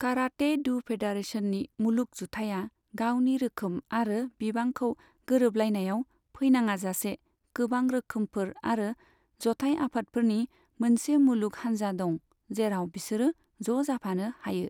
Karate do फेडारेशननि मुलुग जुथाइया गावनि रोखोम आरो बिबांखौ गोरोबलायनायाव फैनाङाजासे गोबां रोखोमफोर आरो जथाइ आफादफोरनि मोनसे मुलुग हानजा दं, जेराब बिसोरो ज' जाफानो हायो।